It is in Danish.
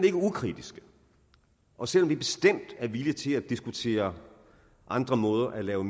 er ukritiske og selv om vi bestemt er villige til at diskutere andre måder at lave